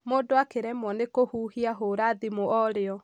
mũndũ akĩremwo nĩ kũhuhia hũra thimũ orĩo.